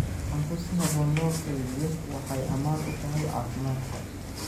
Cunto si habboon loo kaydiyo waxay ammaan u tahay caafimaadka.